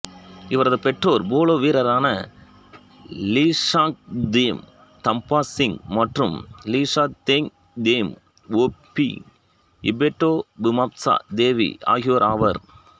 இவரது பெற்றோர் போலோ வீரரான லீஷாங்க்தேம் தம்பா சிங் மற்றும் லீஷாங்க்தேம் ஓங்பி இபெட்டோபிமாச்சா தேவி ஆகியோராவர்